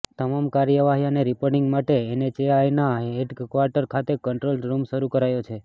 તમામ કાર્યવાહી અને રિપોર્ટિંગ માટે એનએચએઆઈના હેડ ક્વાર્ટર ખાતે કંટ્રોલ રૂમ શરૂ કરાયો છે